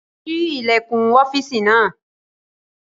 Ṣí ilẹ̀kùn ọ́fìsì náà!